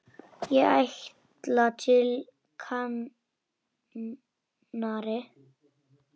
Ég ætla til Kanarí.